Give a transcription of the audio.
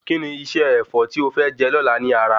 Kí ni iṣẹ́ Ẹ̀fọ́ tí o fẹ je lóla ní ara?